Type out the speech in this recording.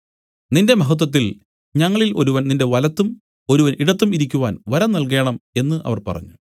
നിന്റെ മഹത്വത്തിൽ ഞങ്ങളിൽ ഒരുവൻ നിന്റെ വലത്തും ഒരുവൻ ഇടത്തും ഇരിക്കുവാൻ വരം നല്കേണം എന്നു അവർ പറഞ്ഞു